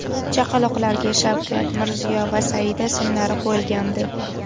Chaqaloqlarga Shavkat, Mirziyo va Saida ismlari qo‘yilgandi .